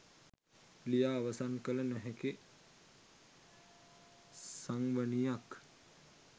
ලියා අවසන් කළ නොහැකි සංවනියක්